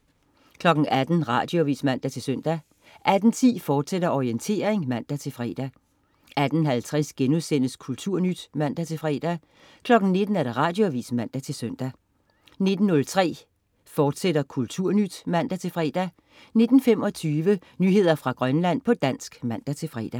18.00 Radioavis (man-søn) 18.10 Orientering, fortsat (man-fre) 18.50 Kulturnyt* (man-fre) 19.00 Radioavis (man-søn) 19.03 Kulturnyt, fortsat (man-fre) 19.25 Nyheder fra Grønland, på dansk (man-fre)